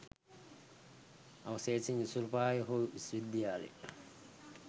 අවශේෂයන් ඉසුරුපාය හෝ විශ්ව විද්‍යාල